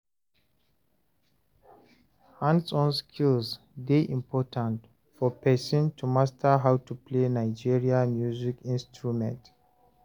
hands-on skills dey important for person to master how to play Nigeria music instrument